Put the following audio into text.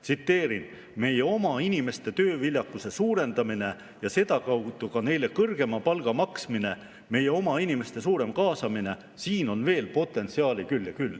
Tsiteerin: "Meie oma inimeste tööviljakuse suurendamine ja sedakaudu ka neile kõrgema palga maksmine, meie oma inimeste suurem kaasamine – siin on veel potentsiaali küll ja küll.